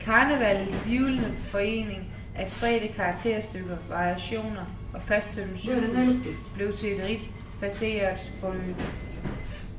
Karnevalets hvirvlende forening af spredte karakterstykker, variationer og fasttømret cyklus blev til et rigt facetteret forløb.